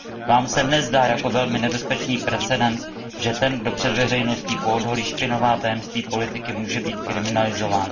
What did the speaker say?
Vám se nezdá jako velmi nebezpečný precedens, že ten, kdo před veřejností poodhalí špinavá tajemství politiky, může být kriminalizován?